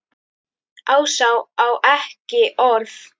Ása á ekki orð.